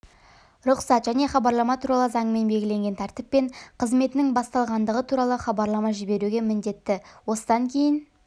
рұқсат және хабарлама туралы заңымен белгіленген тәртіппен қызметінің басталғандығы туралы хабарлама жіберуге міндетті осыдан кейін